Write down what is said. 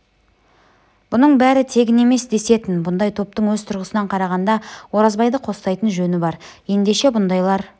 бұның бәрі тегін емес десетін бұндай топтың өз тұрғысынан қарағанда оразбайды қостайтын жөні бар ендеше бұндайлар